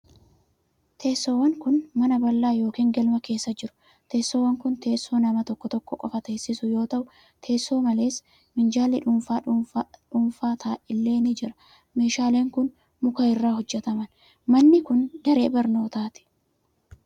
Teessoowwan kun, mana bal'aa yokin galma keessa jiru. Teessoowwan kun, teessoo nama tokko tokko qofa teesisu yoo ta'u, teessoo malees minjaalli dhuunfaa dhuunfaa illee ni jira. Meeshaaleen kun, muka irraa hojjataman. Manni kun, daree barnootaati.